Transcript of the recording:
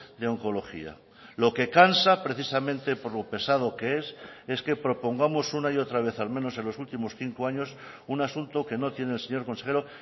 de oncología lo que cansa precisamente por lo pesado que es es que propongamos una y otra vez al menos en los últimos cinco años un asunto que no tiene el señor consejero